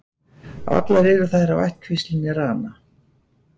allar eru þær af ættkvíslinni rana